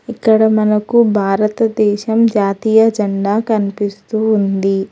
ఇక్కడ మనకు భారతదేశం జాతీయ జెండా కనిపిస్తూ ఉంది.